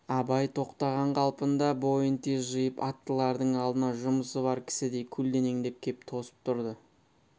абай тоқтаған қалпында бойын тез жиып аттылардың алдына жұмысы бар кісідей көлденеңдеп кеп тосып тұрды